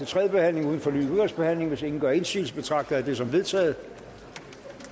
tredje behandling uden fornyet udvalgsbehandling hvis ingen gør indsigelse betragter jeg det som vedtaget